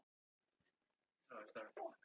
Ófært er um Breiðdalsheiði og Öxi